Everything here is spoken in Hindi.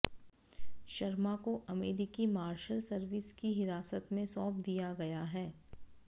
शर्मा को अमेरिकी मार्शल सर्विस की हिरासत में सौंप दिया गया है